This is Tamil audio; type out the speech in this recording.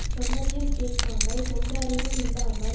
சொன்னதையும் கேட்காமல் சொந்த அறிவும் இல்லாமல்